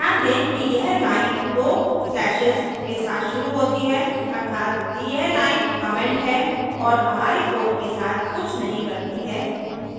ध्यान दें कि यह line दो slashes के साथ शुरू होती है अर्थात यह line comment है और हमारे code के साथ कुछ नहीं करती है